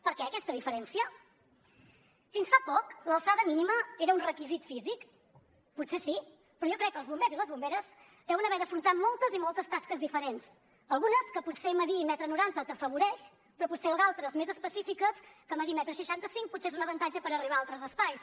per què aquesta diferència fins fa poc l’alçada mínima era un requisit físic potser sí però jo crec que els bombers i les bomberes deuen haver d’afrontar moltes i moltes tasques diferents algunes que potser fer un coma noranta t’afavoreix però potser d’altres més específiques que fer un coma seixanta cinc potser és un avantatge per arribar a altres espais